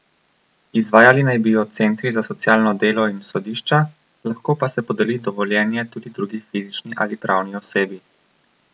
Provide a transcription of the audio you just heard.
Izvajali naj bi jo centri za socialno delo in sodišča, lahko pa se podeli dovoljenje tudi drugi fizični ali pravni osebi.